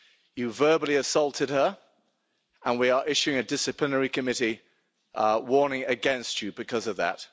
You verbally assaulted her, and we are issuing a disciplinary committee warning against you because of that.